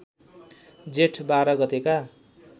जेठ १२ गतेका